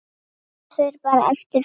Það fer bara eftir fólki.